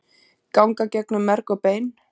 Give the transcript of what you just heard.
ganga gegnum merg og bein